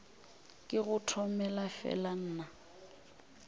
ke go tomele fela nna